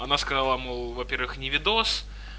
она сказала мол во-первых не видос